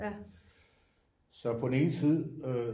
Så på den ene side øh